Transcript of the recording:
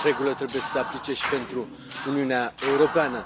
Aceeași regulă trebuie să se aplice și pentru Uniunea Europeană.